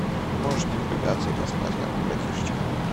можешь не напрягаться и поспать как бы братишечка